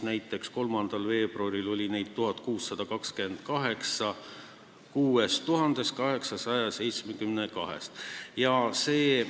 Näiteks 3. veebruaril oli neid 1628 kokku 6872 piiriületusest.